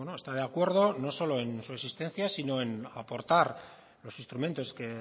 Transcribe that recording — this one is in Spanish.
está de acuerdo no solo en su existencia sino en aportar los instrumentos que